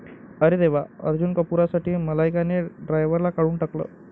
अरे देवा! अर्जुन कपूरसाठी मलायकाने ड्रायव्हरला काढून टाकलं